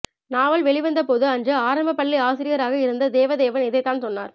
நாவல் வெளிவந்தபோது அன்று ஆரம்பப்பள்ளி ஆசிரியராக இருந்த தேவதேவன் இதைத்தான் சொன்னார்